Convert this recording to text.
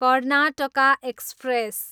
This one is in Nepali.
कर्नाटका एक्सप्रेस